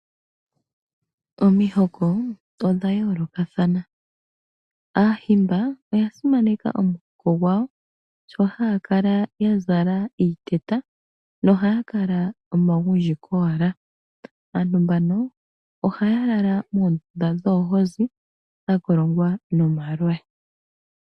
Omihoko odha yoolokathana, aahimba oyasimaneka omuhoko gwawo sho haya kala yazala iiteta na ohaya kala omagundji kowala. Aantu mbaka ohaya lala moondunda dhoohozi dhakolongwa nomaloya.